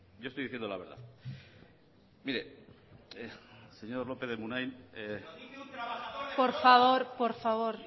yo estoy diciendo la verdad señor lópez de munain berbotsa por favor por favor